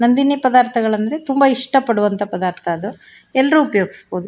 ನಂದಿನಿ ಪದಾರ್ಥಗಳೆಂದರೆ ತುಂಬಾ ಇಷ್ಟ ಪಡುವಂತ ಪದಾರ್ಥ ಅದು ಎಲ್ಲರು ಉಪಯೋಗಸಬಹುದು.